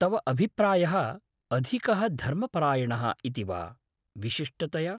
तव अभिप्रायः अधिकः धर्मपरायणः इति वा, विशिष्टतया?